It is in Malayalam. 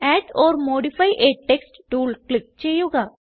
add or modify a text tool click ചെയ്യുക